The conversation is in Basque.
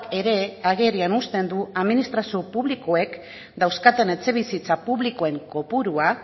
ere agerian uzten du administrazio publikoek dauzkaten etxebizitza publikoen kopurua